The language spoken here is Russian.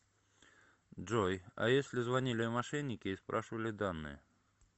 джой а если звонили мошенники и спрашивали данные